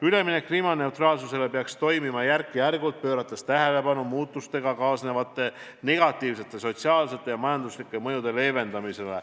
Üleminek kliimaneutraalsusele peaks toimuma järk-järgult, pöörates tähelepanu muutustega kaasnevate negatiivsete sotsiaalsete ja majanduslike mõjude leevendamisele.